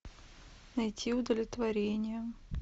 найти удовлетворение